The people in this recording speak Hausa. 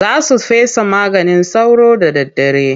Za su fesa maganin sauro da daddare.